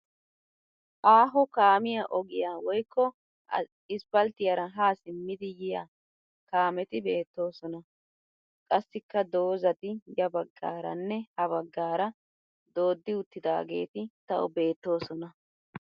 Aaho kaamiya ogiya woyikko isipalttiyaara haa simmidi yiyaa kaameti beettoosona. Qassikka dozzati ya baggaaranne ha baggaara dooddi uttidaageeti tawu beettoosona.